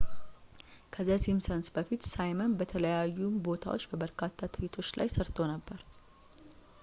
ከ ዘ ሲምፕሰንስ በፊት ሳይመን በተለያዩ ቦታዎች በበርካታ ትርኢቶች ላይ ሠርቶ ነበር